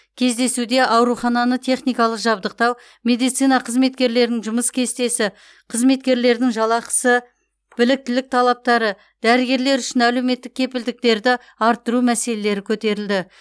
кездесуде аурухананы техникалық жабдықтау медицина қызметкерлерінің жұмыс кестесі қызметкерлердің жалақысы біліктілік талаптары дәрігерлер үшін әлеуметтік кепілдіктерді арттыру мәселелері көтерілді